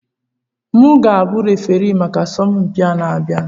M ga-abụ referii maka asọmpi na-abịa?